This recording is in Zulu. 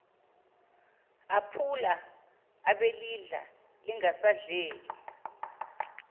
aphula abelidla lingasadleki